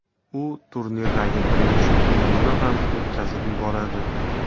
U turnirdagi birinchi o‘yinni ham o‘tkazib yuboradi.